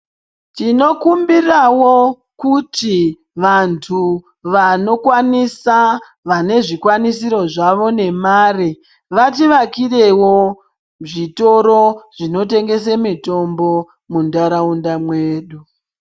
Tinokumbirawo kuti vantu vanokwanisa vane zvikwanisiro zvavo nemari varivakirewo zvitoro zvinotengese mitombo muntaraunda mwedu.